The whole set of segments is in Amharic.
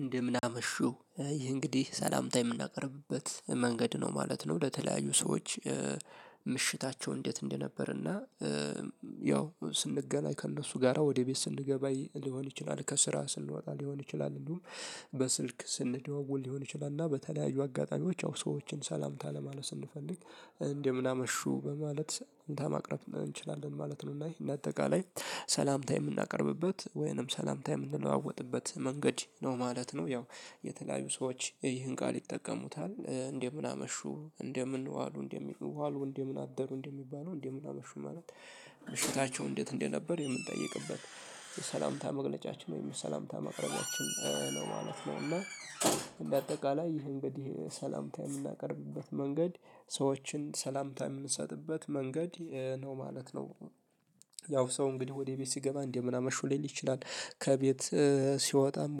እንደምን አመሹ? ይህ እንግዲህ ሰላምታ የምናቀርብበት መንገድ ነው ማለት ነው። ለተለያዩ ሰዎች ምሽታቸው እንዴት እንደነበር። እና ያው ስንገናኝ ከእነሱ ጋራ ወደ ቤት ስንገባ ሊሆን ይችላል። ከስራ ስንወጣ ሊሆን ይችላል። እንደውም በስልክ ስንደዋወል ሊሆን ይችላል። እና በተለያዩ አጋጣሚዎች ያው ሰዎችን ሰላምታ ለማለት ስንፈልግ እንደምናመሹ? በማለት ሰላምታ ማቅረብ እንችላለን ማለት ነው። እና ይህን አጠቃላይ ሰላምታ የምናቀርብበት ወይንም ሰላምታ የምንለዋወጥበት መንገድ ነው። ማለት ነው ያው የተለያዩ ሰዎች ይህን ቃል ይጠቀሙታል። እንደምን አመሹ? እንደምን ዋሉ? እንደምን ዋሉ? እንዴ ምን አደሩ? እንዴ ምን አመሹ ማለት ምሽታቸው እንዴት እንደነበር የምንጠይቅበት የሰላምታ መግለጫችን ወይም የሰላምታ ማቅረባችን ነው ማለት ነው። እና እንደ አጠቃላይ ይሄ እንግዲህ ሰላምታ የምናቀርብበት መንገድ ሰዎችን ሰላምታ የምንሰጥበት መንገድ ነው ማለት ነው። ያው ሰው እንግዲህ ወደ ቤት ሲገባ እንደምን አመሹ ሌል ይችላል ከቤት ሲወጣ አንድ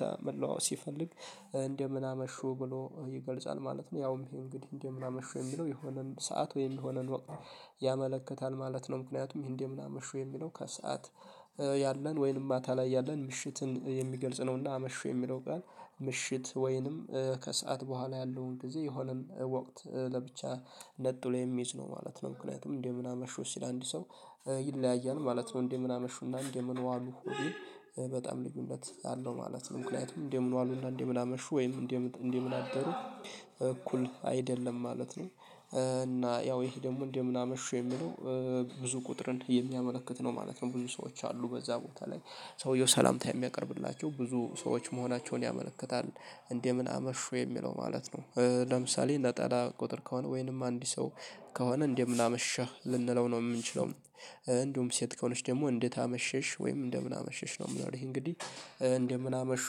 ሰላምታ መለዋወጥ ሲፈልግ እንደምን አመሹ? ብሎ ይገልጻል ማለት ነው። ያውም ይሄ እንግዲህ እንደምን አመሹ? የሚለው የሆነን ሰዓት ወይ የሆነን ወቅት ያመለከታል ማለት ነው። ምክንያቱም ይሄ እንደምና አመሹ የሚለው ከሰአት ያለን ወይንም ማታ ላይ ያለን ምሽትን የሚገልጽ ነውና አመሹ የሚለው ቃል ምሽት ወይንም ከሰአት በኋላ ያለውን ጊዜ የሆነን ወቅት ለብቻ ነጥሎ የሚይዝ ነው ማለት ነው። ምክንያቱም እንደምን አመሹ ሲል አንድ ሰው ይለያያል ማለት ነው። እንደምን አመሹና? እንደምን ዋሉ? በጣም ልዩነት አለው ማለት ነው። ምክንያቱም እንደምን ዋሉና፣ እንደምን አመሹ ወይም እንደምን አደሩ፣ እኩል አይደለም ማለት ነው። እና ያው ይሄ ደግሞ እንደምን አመሹ የሚለው ብዙ ቁጥርን የሚያመለክት ነው ማለት ነው ብዙ ሰዎች አሉ። በዛ ቦታ ላይ ሰውየው ሰላምታ የሚያቀርብላቸው ብዙ ሰዎች መሆናቸውን ያመለክታል። እንዴምን አመሹ? የሚለው ማለት ነው። ለምሳሌ ለጠላ ቁጥር ከሆነ ወይንም አንድ ሰው ከሆነ እንደምን አመሸህ? ልንለው ነው የምንችለው። እንደውም ሴት ከሆነች ደግሞ እንዴት አመሸሽ? ወይም እንደምን አመሸሽ? ነው የምኖርህ እንግዲህ እንደምን አመሹ?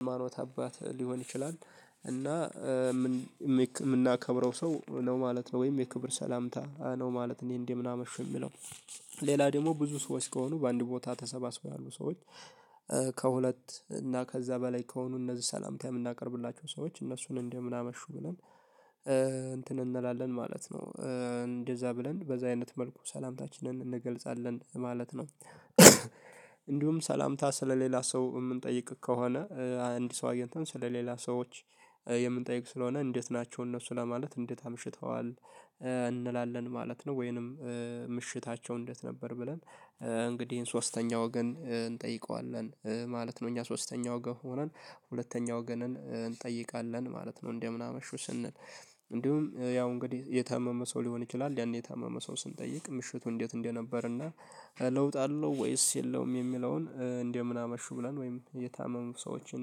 አንድ የሃይማኖት አባት ሊሆን ይችላል እና የምናከብረው ሰው ነው ማለት ነው። ወይም የክብር ሰላምታ ነው ማለት ነው። ይሄ እንዴምን አመሹ? የሚለው ሌላ ደግሞ ብዙ ሰዎች ከሆኑ በአንድ ቦታ ተሰባስበው ያሉ ሰዎች ከሁለት እና ከዛ በላይ ከሆኑ እነዚህ ሰላምታ የምናቀርብላቸው ሰዎች እነሱን እንደምን አመሹ? ብለን እንትን እንላለን ማለት ነው እንደዛ ብለን በዛ አይነት መልኩ ሰላምታችንን እንገልጻለን ማለት ነው። እንዲሁም ሰላምታ ስለሌላ ሰው የምንጠይቅ ከሆነ አንድ ሰው አግኝተን ስለሌላ ሰዎች የምንጠይቅ ስለሆነ እንዴት ናቸው። እነሱ ለማለት እንዴት አምሽተዋል? እንላለን ማለት ነው። ወይንም ምሽታቸው እንዴት ነበር? ብለን እንግዲህ ሶስተኛው ወገን እንጠይቀዋለን። ማለት ነው እኛ ሶስተኛው ወገን ሆነን ሁለተኛው ወገንን እንጠይቃለን። ማለት ነው እንደምን አመሹ? ስንል እንዲሁም ያው እንግዲህ የታመመ ሰው ሊሆን ይችላል ያኔ የታመመ ሰው ስንጠይቅ ምሽቱ እንዴት እንደነበር እና ለውጥ አለው ወይስ የለውም የሚለውን እንደምን አመሹ? ብለን ወይም የታመሙ ሰዎችን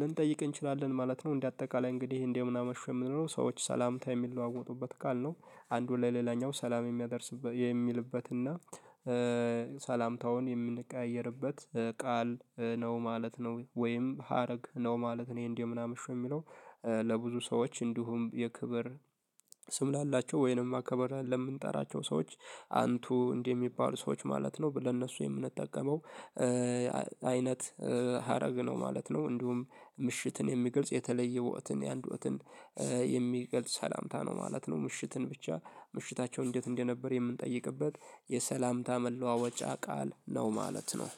ልንጠይቅ እንችላለን። ማለት ነው እንደ አጠቃላይ እንግዲህ እንደምን አመሹ? የምንለው ሰዎች ሰላምታ የሚለዋወጡበት ቃል ነው አንዱ ለሌላኛው ሰላም የሚያደርስበት የሚልበት እና ሰላምታውን የምንቀያየርበት ቃል ነው ማለት ነው። ወይም ሀረግ ነው ማለት ነው። ይሄ እንደምን አመሹ? የሚለው ለብዙ ሰዎች እንዲሁም የክብር ስም ላላቸው ወይንም አክብረን ለምንጠራቸው ሰዎች አንቱ እንደሚባሉ ሰዎች ማለት ነው ለነሱ የምንጠቀመው አይነት ሀረግ ነው ማለት ነው። እንዲሁም ምሽትን የሚገልጽ የተለየ ወቅትን የአንድ ወቅትን የሚገልጽ ሰላምታ ነው ማለት ነው ምሽትን ብቻ ምሽታቸው እንዴት እንደነበር የምንጠይቅበት የሰላምታ መለዋወጫ ቃል ነው። ማለት ነው።